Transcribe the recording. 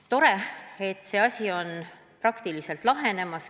Tore, et see asi on praktiliselt lahenemas.